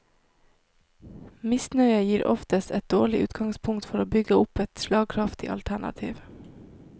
Misnøye gir oftest et dårlig utgangspunkt for å bygge opp et slagkraftig alternativ.